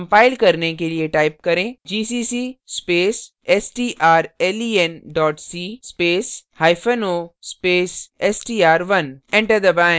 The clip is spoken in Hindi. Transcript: कंपाइल करने के लिए type करें gcc space strlen c space o space str1 enter दबाएँ